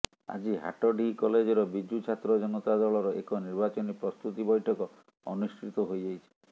ଆଜି ହାଟଡିହି କଲେଜର ବିଜୁ ଛାତ୍ର ଜନତାଦଳର ଏକ ନିର୍ବାଚନୀ ପ୍ରସ୍ତୁତି ବୈଠକ ଅନୁଷ୍ଠିତ ହୋଇଯାଇଛି